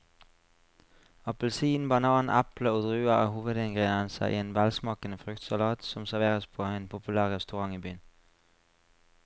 Appelsin, banan, eple og druer er hovedingredienser i en velsmakende fruktsalat som serveres på en populær restaurant i byen.